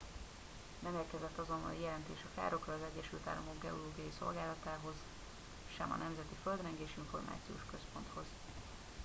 nem érkezett azonnali jelentés a károkról az egyesült államok geológiai szolgálatához usgs sem a nemzeti földrengés információs központhoz